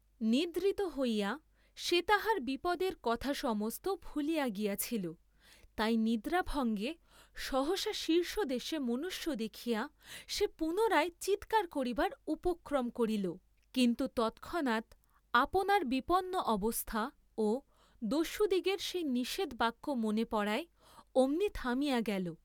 নিদ্রিত হইয়া সে তাহার বিপদের কথা সমস্ত ভুলিয়া গিয়াছিল, তাই নিদ্রাভঙ্গে সহসা শীর্ষদেশে মনুষ্য দেখিয়া সে পুনরায় চীৎকার করিবার উপক্রম করিল, কিন্তু তৎক্ষণাৎ আপনার বিপন্ন অবস্থা ও দস্যুদিগের সেই নিষেধ বাক্য মনে পড়ায় অমনি থামিয়া গেল।